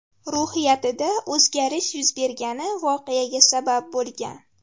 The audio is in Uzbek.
ruhiyatida o‘zgarish yuz bergani voqeaga sabab bo‘lgan.